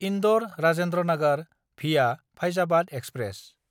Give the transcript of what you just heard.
इन्दर–राजेन्द्र Nagar via Faizabad express